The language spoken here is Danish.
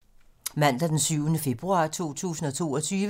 Mandag d. 7. februar 2022